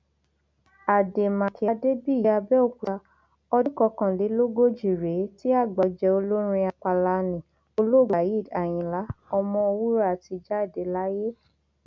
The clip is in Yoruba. àdèmàkè adébíyí àbẹòkúta ọdún kọkànlélógójì rèé tí àgbà ọjẹ olórin apala nni olóògbé waheed àyìnlá ọmọwúrà ti jáde láyé